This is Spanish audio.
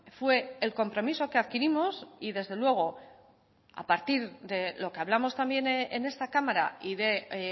fue el compromiso que adquirimos y desde luego a partir de lo que hablamos también en esta cámara y de